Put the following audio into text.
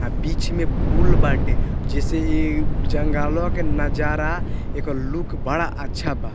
आ बीच में फूल बाटे जैसे ए जंगलवा के नजारा एकर लुक बड़ा अच्छा बा।